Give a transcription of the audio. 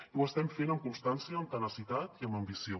i ho estem fent amb constància amb tenacitat i amb ambició